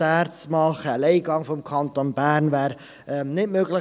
Ein Alleingang des Kantons Bern sei nicht möglich.